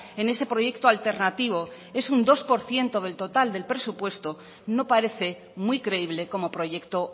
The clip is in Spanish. en este proyecto alternativo es un dos por ciento del total del presupuesto no parece muy creíble como proyecto